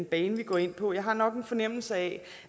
bane vi går ind på jeg har nok en fornemmelse af